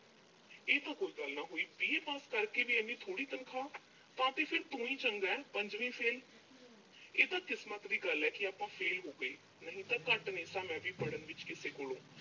ਇਹ ਤਾਂ ਕੋਈ ਗੱਲ ਨਾ ਹੋਈ। B. A pass ਕਰਕੇ ਵੀ ਇੰਨੀ ਥੋੜ੍ਹੀ ਤਨਖਾਹ? ਹਾਂ ਤੇ ਫਿਰ ਤੂੰ ਹੀ ਚੰਗਾਂ, ਪੰਜਵੀਂ fail ਇਹ ਤਾਂ ਕਿਸਮਤ ਦੀ ਗੱਲ ਐ, ਕਿ ਆਪਾਂ fail ਹੋ ਗਏ। ਨਹੀਂ ਤਾਂ ਘੱਟ ਨਹੀਂ ਸਾਂ, ਮੈਂ ਵੀ ਪੜ੍ਹਨ ਵਿੱਚ ਕਿਸੇ ਕੋਲੋਂ।